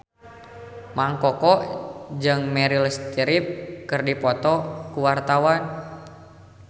Mang Koko jeung Meryl Streep keur dipoto ku wartawan